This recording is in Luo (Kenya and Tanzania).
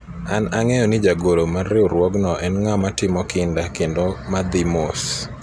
an ang'eyo ni jagoro mar riwruogno en ng'ama timo kinda kendo madhi mos